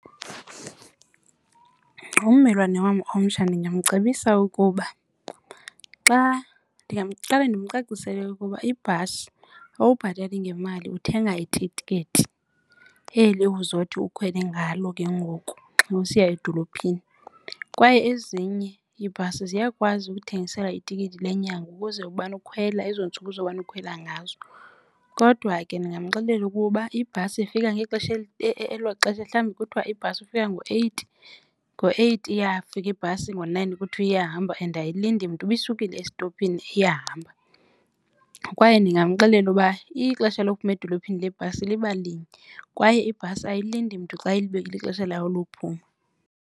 Ummelwane wam omtsha ndingamcebisa ukuba xa ndingaqale ndimcacisele ukuba ibhasi awubhatali ngemali uthenga itikiti eli uzothi ukhwele ngalo ke ngoku xa usiya edolophini. Kwaye ezinye iibhasi ziyakwazi ukuthengisela itikiti lenyanga ukuze umane ukhwela ezo ntsuku uzomana ukhwela ngazo. Kodwa ke ndingamxelela ukuba ibhasi ifika ngexesha elo xesha mhlawumbi kuthiwa ibhasi ifika ngo-eight, ngo-eight iyafika ibhasi ngo-nine kuthiwa iyahamba and ayilindi mntu. Uba isukile estophini iyahamba kwaye ndingamxelela ukuba ixesha lokuphuma edolophini lebhasi liba linye kwaye ibhasi ayilindi mntu xa ilixesha layo lophuma.